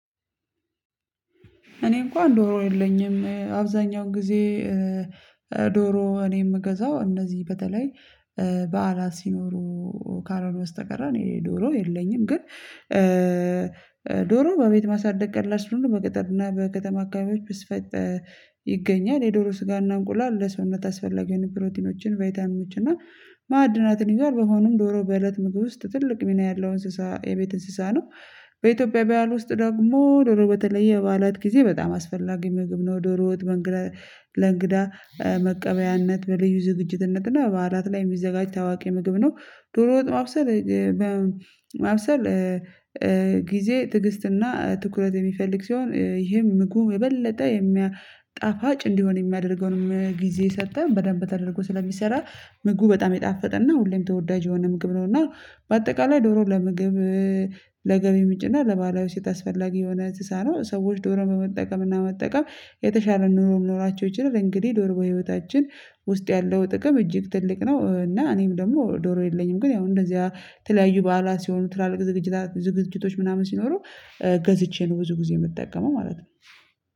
እኔ እንኳን ዶሮ የለኝም አብዛኛው ጊዜ። ዶሮ እኔ የምገዛው እነዚህ በተለይ በዓላት ሲኖሩ ካልሆነ በስተቀረ እኔ ዶሮ የለኝም። ግን ዶሮ በቤት ማሳደግ ቀላል ስለሆነ በገጠር እና በከተማ አካባቢዎች በስፋት ይገኛል የዶሮ ስጋና እንቁላል ለሰዉነት አስፈለጊ ፕሮቲኖችን ቫይታሚኖችን እና ማዕድናትን ይዟል። በመሆኑም ዶሮ በእለት ምግብ ውስጥ ትልቅ ሚና ያለው እንስሳ የቤት እንስሳ ነው። በኢትዮጵያ ባህል ውስጥ ደግሞ ዶሮ በተለየ በዓላት ጊዜ በጣም አስፈላጊ ምግብ ነው። ዶሮ ወጥ መንግዳ ለእንግዳ መቀበያነት በልዩ ዝግጅትነትና በባዓላት ላይ የሚዘጋጅ ታዋቂ ምግብ ነው። ዶሮ ወጥ ማብሰል ማብሰል ጊዜ ትዕግስትና ትኩረት የሚፈልግ ሲሆን ይሄም ምግቡ የበለጠ የሚያጣ ጣፋጭ እንዲሆን የሚያደርገውንም ጊዜ ሰተን በደንብ ተደርጎ ስለሚሰራ ምግቡ በጣም የጣፈጠ እና ሁሌም ተወዳጅ የሆነ ምግብ ነው። እና በአጠቃላይ ዶሮ ለምግብ ለገቢ ምጭና ለባሀላዊ ሴት አስፈላጊ የሆነ እንሰሳ ሰዎች ዶሮ በመጠቀምና መጠቀም የተሻለ ኑሮ ሊኖራቸው ይችላል። እንግዲህ ዶሮ በህይወታችን ውስጥ ያለው ጥቅም እጅግ ትልቅ ነው። እና እኔም ደግሞ ዶሮ የለኝም። ግን ያው እንደዚያ የተለያዩ በዓላት ሲሆኑ ትላልቅ ዝግጅታ ዝግጅቶች ምናምን ሲኖሩ ገዝቼ ነው ብዙ ጊዜ የምጠቀመው ማለት ነው።